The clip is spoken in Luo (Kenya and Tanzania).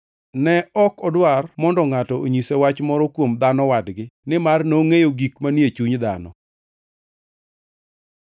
Ne ok odwar mondo ngʼato onyise wach moro kuom dhano wadgi nimar nongʼeyo gik manie chuny dhano.